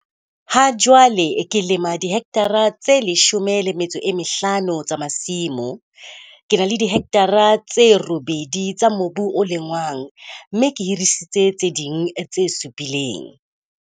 Hajwale ke lema dihekthara tse 15 tsa masimo. Ke na le dihekthara tse 8 tsa mobu o lengwang, mme ke hirisitse tse ding tse 7.